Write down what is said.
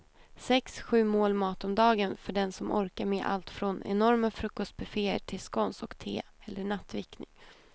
Sex, sju mål mat om dagen för den som orkar med allt från enorma frukostbufféer till scones och te eller nattvickning.